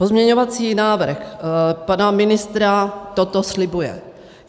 Pozměňovací návrh pana ministra toto slibuje.